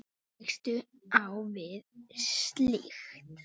Hvernig tekstu á við slíkt?